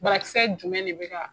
Banakisɛ jumɛn de bɛ ka